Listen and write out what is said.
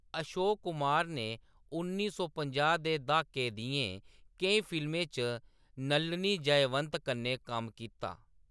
अशोक कुमार ने उन्नी सौ पंजाह् दे द्हाके दियें केईं फिल्में च नलिनी जयवंत कन्नै कम्म कीता।